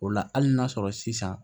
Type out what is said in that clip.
O la hali n'a sɔrɔ sisan